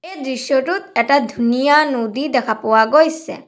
এই দৃশ্যটোত এটা ধুনীয়া নদী দেখা পোৱা গৈছে।